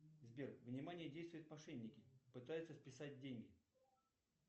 сбер внимание действуют мошенники пытаются списать деньги